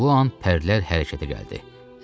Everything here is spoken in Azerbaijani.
Elə bu an pərdələr hərəkətə gəldi.